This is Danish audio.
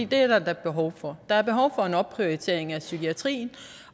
der da behov for der er behov for en opprioritering af psykiatrien